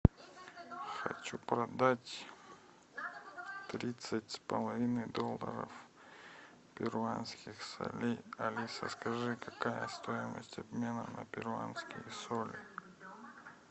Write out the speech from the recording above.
хочу продать тридцать с половиной долларов перуанских солей алиса скажи какая стоимость обмена на перуанские соли